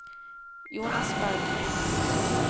Jonas Bergli